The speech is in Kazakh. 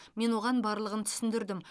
мен оған барлығын түсіндірдім